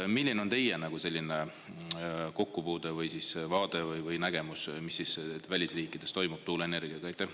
Milline on teie kokkupuude või vaade või nägemus, mis siis välisriikides toimub tuuleenergiaga?